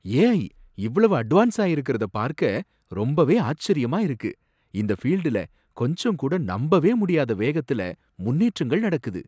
AI இவ்வளவு அட்வான்ஸாயிருக்குறத பார்க்க ரொம்பவே ஆச்சரியமா இருக்கு. இந்த ஃபீல்டுல கொஞ்சம் கூட நம்பவே முடியாத வேகத்துல முன்னேற்றங்கள் நடக்குது.